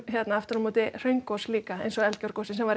aftur á móti hraungos líka eins og Eldgjárgosið sem var